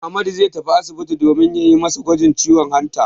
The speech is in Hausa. Ahmadu zai tafi asibiti domin a yi masa gwajin ciwon hanta.